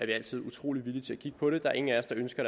vi altid utrolig villige til at kigge på det der er ingen af os der ønsker